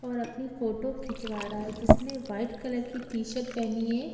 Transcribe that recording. और अपनी फोटो खिचवा रहा है जिसने वाइट कलर की टी-शर्ट पहनी है।